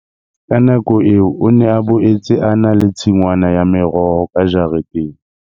Ka nako eo o ne a boetse a na le tshingwana ya meroho ka jareteng.